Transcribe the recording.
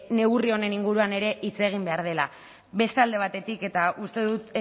neurri honen inguruan ere hitz egin behar dela beste alde batetik eta uste dut